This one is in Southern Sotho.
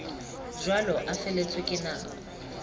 jwalo a feletswe ke nako